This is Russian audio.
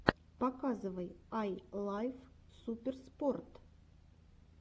показывай ай лав суперспорт